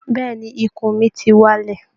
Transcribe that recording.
Bẹ́ẹ̀ ni, ikùn mi ti wálẹ̀